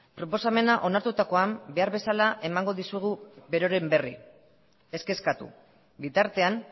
proposamena onartutakoan behar bezala emango dizugu beroren berri ez kezkatu bitartean